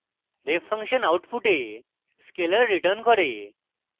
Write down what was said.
ref function output scalar returns করে